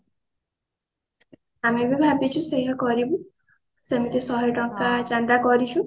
ଆମେ ବି ଭବିଛୁ ସେଇଆ କରିବୁ ସେମିତି ଶହେ ଟଙ୍କା ଚାନ୍ଦା କରିଛୁ